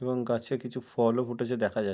এবং গাছ এ কিছু ফল ও ফুটেছে দেখা যাচ্ছে।